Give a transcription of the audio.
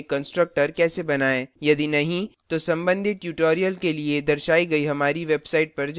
यदि नहीं तो संबंधित tutorials के लिए दर्शाई गई हमारी website पर जाएँ